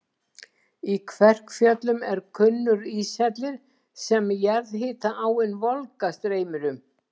Í Kverkfjöllum er kunnur íshellir sem jarðhita-áin Volga streymir um.